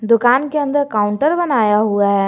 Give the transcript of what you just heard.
दुकान के अंदर काउंटर बनाया हुआ है।